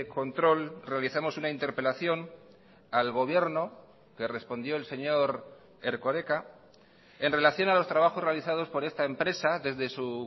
control realizamos una interpelación al gobierno que respondió el señor erkoreka en relación a los trabajos realizados por esta empresa desde su